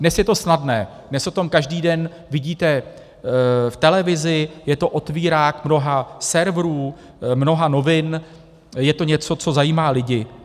Dnes je to snadné, dnes o tom každý den vidíte v televizi, je to otvírák mnoha serverů, mnoha novin, je to něco, co zajímá lidi.